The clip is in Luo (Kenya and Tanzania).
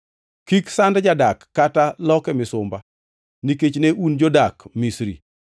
“Kik sand jadak kata loke misumba, nikech ne un jodak Misri.